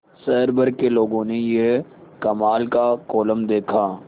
शहर भर के लोगों ने यह कमाल का कोलम देखा